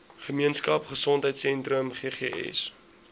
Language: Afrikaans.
gemeenskap gesondheidsentrum ggs